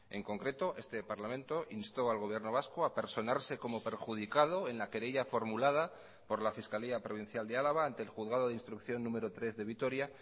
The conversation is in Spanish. en concreto este parlamento instó al gobierno vasco a personarse como perjudicado en la querella formulada por la fiscalía provincial de álava ante el juzgado de instrucción número tres de vitoria